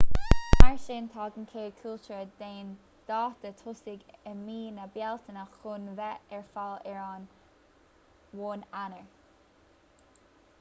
mar sin tagann cead cúltíre d'aon dáta tosaigh i mí na bealtaine chun bheith ar fáil ar an 1 eanáir